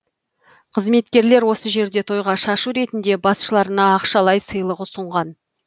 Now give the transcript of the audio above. қызметкерлер осы жерде тойға шашу ретінде басшыларына ақшалай сыйлық ұсынған